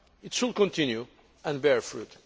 It will continue and bear fruit.